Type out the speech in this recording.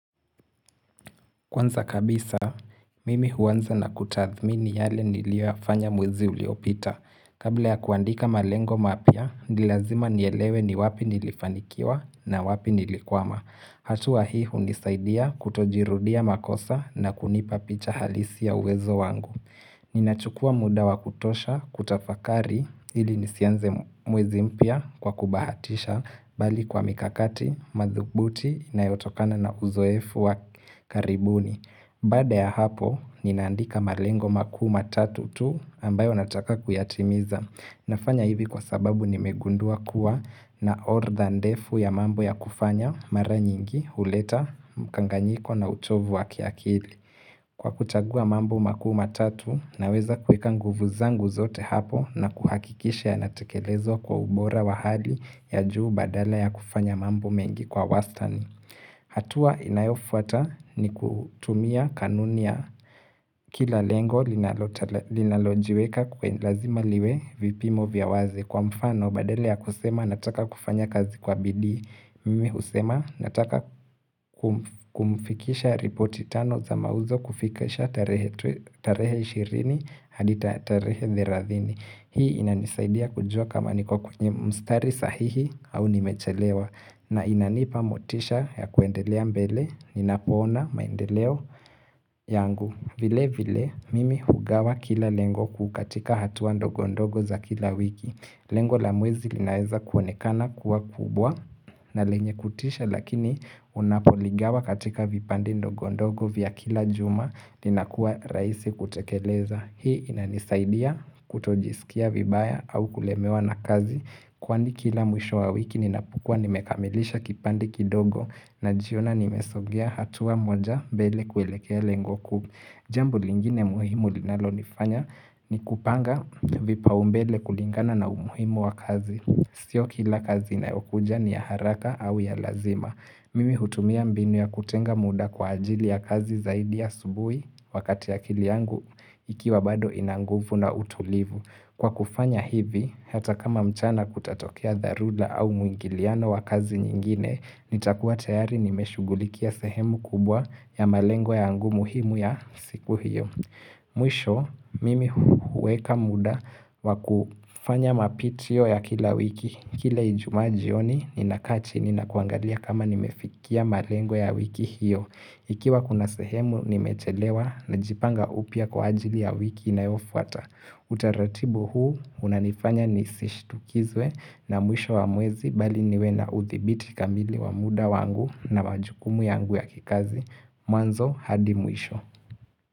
Kwanza kabisa, mimi huanza na kutathmini yale niliyoyafanya mwezi uliopita. Kabla ya kuandika malengo mapya, ni lazima nielewe ni wapi nilifanikiwa na wapi nilikwama. Hatua hii hunisaidia kutojirudia makosa na kunipa picha halisi ya uwezo wangu. Ninachukua muda wa kutosha kutafakari ili nisianze mwezi mpia kwa kubahatisha bali kwa mikakati, madhubuti inayotokana na uzoefu wa karibuni. Baada ya hapo, ninaandika malengo makuu matatu tu ambayo nataka kuyatimiza. Nafanya hivi kwa sababu nimegundua kuwa na ordha ndefu ya mambo ya kufanya mara nyingi, huleta, mkanganyiko na uchovu wa kiakili. Kwa kuchagua mambo makuu matatu, naweza kuweka nguvu zangu zote hapo na kuhakikisha yanatekelezwa kwa ubora wa hali ya juu badala ya kufanya mambo mengi kwa wastan. Hatua inayofuata ni kutumia kanuni ya kila lengo linalojiweka kwen lazima liwe vipimo vya wazi. Kwa mfano, badala ya kusema nataka kufanya kazi kwa bidii Mimi husema nataka kumfikisha ripoti tano za mauzo kufikisha tarehe 20 hadita tarehe 30 Hii inanisaidia kujua kama niko kwenye mstari sahihi au nimechelewa na inanipa motisha ya kuendelea mbele, ninapoona maendeleo yangu vile vile, mimi hugawa kila lengo kukatika hatua ndogo ndogo za kila wiki Lengo la mwezi linaeza kuonekana kuwa kubwa na lenye kutisha lakini unapoligawa katika vipande ndogondogo vya kila juma inakuwa rahisi kutekeleza. Hii inanisaidia kutojisikia vibaya au kulemewa na kazi kwani kila mwisho wa wiki ninapokua nimekamilisha kipande kidogo najiona nimesogea hatua moja mbele kuelekea lengo kuu. Jambo lingine muhimu linalonifanya ni kupanga vipaumbele kulingana na umuhimu wa kazi. Sio kila kazi inayokuja ni ya haraka au ya lazima. Mimi hutumia mbinu ya kutenga muda kwa ajili ya kazi zaidi asubuhi wakati akili yangu ikiwa bado ina nguvu na utulivu. Kwa kufanya hivi, hata kama mchana kutatokea dharura au mwingiliano wa kazi nyingine, nitakuwa tayari nimeshugulikia sehemu kubwa ya malengwa yangu muhimu ya siku hiyo. Mwisho, mimi huweka muda wakufanya mapitio ya kila wiki, kila ijumaa jioni, ninakaa chini na kuangalia kama nimefikia malengo ya wiki hiyo. Ikiwa kuna sehemu nimechelewa najipanga upya kwa ajili ya wiki inayofuata. Utaratibu huu unanifanya nisishitukizwe na mwisho wa mwezi bali niwe na uthibiti kamili wa muda wangu na majukumu yangu ya kikazi. Mwanzo hadi mwisho.